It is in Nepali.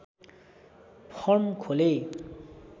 फर्म खोले